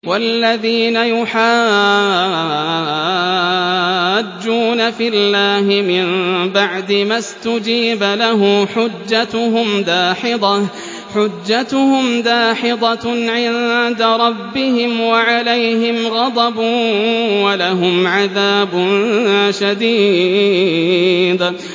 وَالَّذِينَ يُحَاجُّونَ فِي اللَّهِ مِن بَعْدِ مَا اسْتُجِيبَ لَهُ حُجَّتُهُمْ دَاحِضَةٌ عِندَ رَبِّهِمْ وَعَلَيْهِمْ غَضَبٌ وَلَهُمْ عَذَابٌ شَدِيدٌ